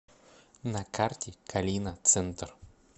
на карте калина центр